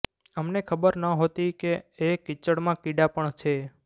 અમને ખબર નહોતી કે એ કીચડમાં કીડા પણ છે